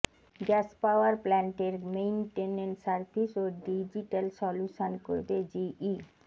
gas power প্ল্যান্টের maintenance service ও digital solution করবে জিই